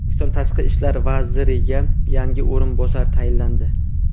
O‘zbekiston tashqi ishlar vaziriga yangi o‘rinbosar tayinlandi.